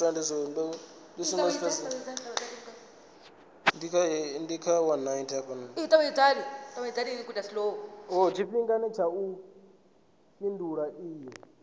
tshifhinga tsha u fhindula iyi